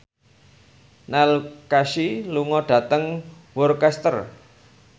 Neil Casey lunga dhateng Worcester